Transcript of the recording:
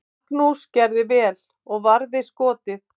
Magnús gerði vel og varði skotið.